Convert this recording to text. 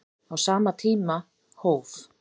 Á sama tíma hóf